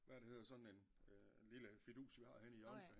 Hvad er der hedder sådan en lille fidus vi har henne i hjørnet